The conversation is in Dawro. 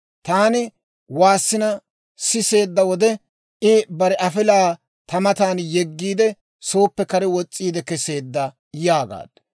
Taani waassina siseedda wode, I bare afilaa ta matan yeggiide, sooppe kare wos's'iide kesseedda» yaagaaddu.